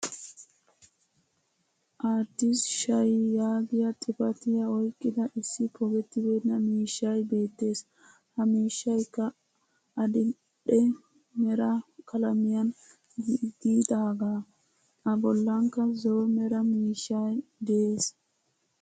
Addis shay yaagiyaa xifatiya oyqqida issi pogeetibeenaa miishshay beettees. He miishshaykka adidhdhe meraa qaalaamiyan giggidagaa. A bollankka zo7o meraa miishsha de7es